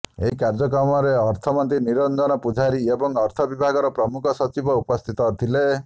ଏହି କାର୍ଯ୍ୟକ୍ରମରେ ଅର୍ଥମନ୍ତ୍ରୀ ନିରଞ୍ଜନ ପୂଜାରୀ ଏବଂ ଅର୍ଥ ବିଭାଗର ପ୍ରମୁଖ ସଚିବ ଉପସ୍ଥିତ ଥିଲେ